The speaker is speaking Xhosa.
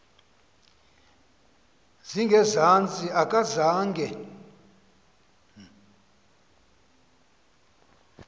zinge zantsi akazange